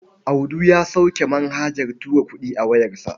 Audu ya sauke manhajar tura kuɗi a wayarsa.